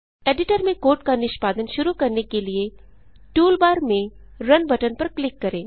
editor में code का निष्पादन शुरू करने के लिए टूलबार में रुन बटन पर क्लिक करें